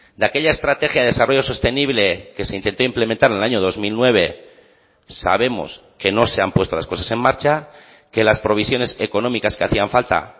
de aquella estrategia de desarrollo sostenible que se intentó implementar en el año dos mil nueve sabemos que no se han puesto las cosas en marcha que las provisiones económicas que hacían falta